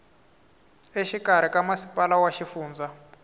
exikarhi ka masipala wa xifundza